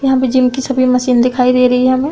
यहां पे जिम की सभी मशीन दिखाई दे रही हैं हमें।